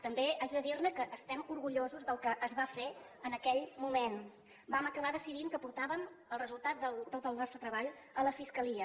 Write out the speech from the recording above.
també haig de dir que estem orgullosos del que es va fer en aquell moment vam acabar decidint que portàvem el resultat de tot el nostre treball a la fiscalia